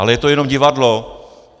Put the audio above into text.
Ale je to jenom divadlo.